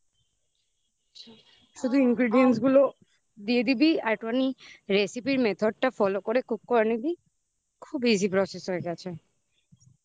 শুধু ingredients গুলো দিয়ে দিবি আর একটুখানি recipe র method টা follow করে cook করে নিবি খুব easy process হয়ে গেছে।